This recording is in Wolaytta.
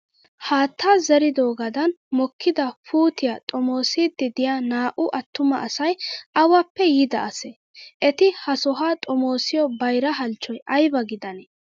Haattaa zeeridoogan mokkida puutiyaa xomoosiiddi diya naa''u attuma asayi awappe yiida asee? Eti ha sohaa xomoosiyo bayira halchchoyi ayiba gidanee?